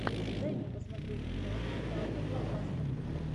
дай мне посмотреть киношку жанра блокбастер